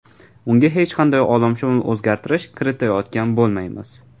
Unga hech qanday olamshumul o‘zgartirish kiritayotgan bo‘lmaymiz.